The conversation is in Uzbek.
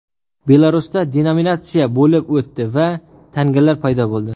Belarusda denominatsiya bo‘lib o‘tdi va tangalar paydo bo‘ldi .